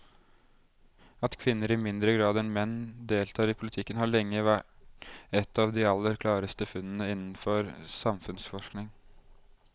At kvinner i mindre grad enn menn deltar i politikken har lenge vært et av de aller klareste funnene innenfor samfunnsforskningen.